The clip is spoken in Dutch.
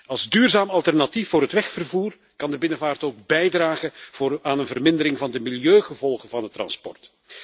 Als duurzaam alternatief voor het wegvervoer kan de binnenvaart ook bijdragen aan een vermindering van de milieugevolgen van het transport.